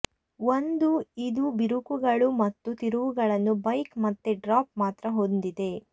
ಒಂದು ಇದು ಬಿರುಕುಗಳು ಮತ್ತು ತಿರುವುಗಳನ್ನು ಬೈಕ್ ಮತ್ತೆ ಡ್ರಾಪ್ ಮಾತ್ರ ಹೊಂದಿದೆ